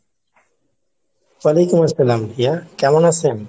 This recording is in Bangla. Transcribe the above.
ওয়ালাইকুম আসসালাম রিয়া, কেমন আছেন?